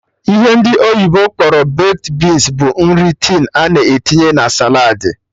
Ihe ndị oyibo kpọrọ baked beans bụ nri tin a na-etinye na saladị